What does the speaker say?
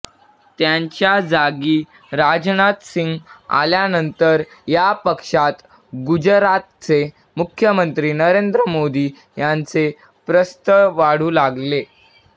त्यांच्या जागी राजनाथ सिंह आल्यानंतर या पक्षात गुजरातचे मुख्यमंत्री नरेंद्र मोदी यांचे प्रस्थ वाढू लागले